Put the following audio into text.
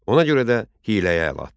Ona görə də hiyləyə əl atdı.